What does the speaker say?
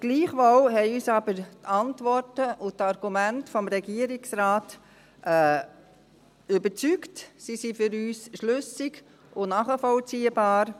Gleichwohl haben uns aber die Antworten und Argumente des Regierungsrates überzeugt, sie sind für uns schlüssig und nachvollziehbar.